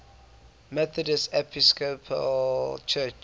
methodist episcopal church